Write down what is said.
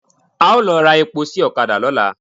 A ó lọ ra epo sí ọ̀kadà lọ́la.